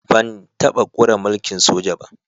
Ban taba kware mulki'n soja ba.